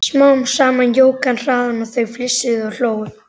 Smám saman jók hann hraðann og þau flissuðu og hlógu.